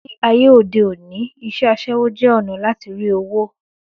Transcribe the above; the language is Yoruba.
Ní ayé òde òní, isé aṣẹ́wó jẹ́ ònà lati rí owó